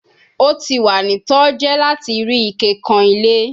O ti wa ni toje lati ri ike kan ile